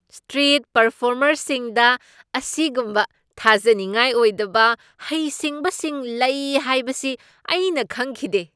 Street ꯄꯔꯐꯣꯔꯃꯔꯁꯤꯡꯗ ꯑꯁꯤꯒꯨꯝꯕ ꯊꯥꯖꯅꯤꯡꯉꯥꯏ ꯑꯣꯏꯗꯕ ꯍꯩꯁꯤꯡꯕꯁꯤꯡ ꯂꯩ ꯍꯥꯏꯕꯁꯤ ꯑꯩꯅ ꯈꯪꯈꯤꯗꯦ꯫